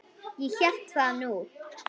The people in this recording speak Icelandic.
Ég hélt það nú.